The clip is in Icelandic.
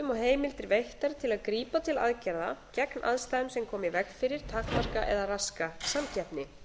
og heimildir veittar til að grípa tel aðgerða gegn aðstæðum sem koma í veg fyrir takmarka eða raska samkeppni